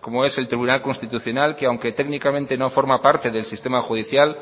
como es el tribunal constitucional que aunque técnicamente no forma parte del sistema judicial